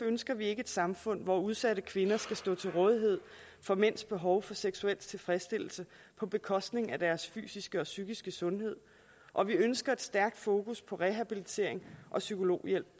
ønsker vi ikke et samfund hvor udsatte kvinder skal stå til rådighed for mænds behov for seksuel tilfredsstillelse på bekostning af deres fysiske og psykiske sundhed og vi ønsker et stærkt fokus på rehabilitering og psykologhjælp